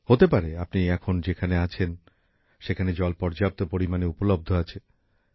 হতে পারে আপনি এখন যেখানে আছেন সেখানে জল পর্যাপ্ত পরিমাণে পাওয়া যায়